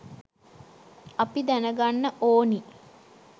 අපි දැනගන්න ඕනි